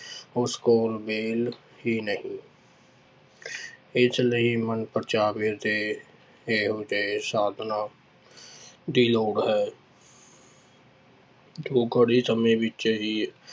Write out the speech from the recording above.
ਉਸ ਕੋਲ ਵਿਹਲ ਹੀ ਨਹੀਂ ਇਸ ਲਈ ਮਨ ਪ੍ਰਚਾਵੇ ਦੇ ਇਹੋ ਜਿਹੇ ਸਾਧਨਾਂ ਦੀ ਲੋੜ ਹੈ ਜੋ ਘਰੇ ਸਮੇਂ ਵਿੱਚ ਹੀ